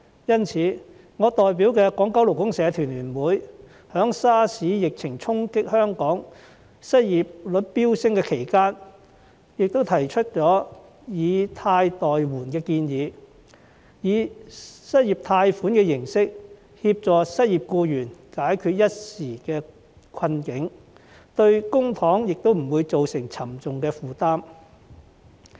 因此，我代表的勞聯在 SARS 疫情衝擊香港致失業率飆升的期間，提出了"以貸代援"的建議，以失業貸款的形式協助失業僱員解決一時之困，對公帑也不會造成沉重負擔。